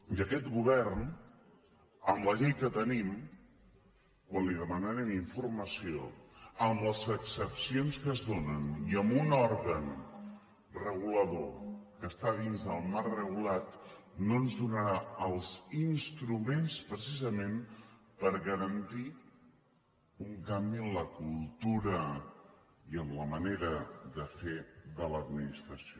i aquest govern amb la llei que tenim quan li demanem informació amb les excepcions que es donen i amb un òrgan regulador que està dins del marc regulat no ens donarà els instruments precisament per garantir un canvi en la cultura i en la manera de fer de l’administració